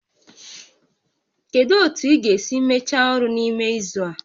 Kedu otu ị ga-esi mechaa ọrụ a n'ime izu abụọ?